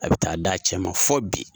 A be taa d'a cɛ ma fo bi.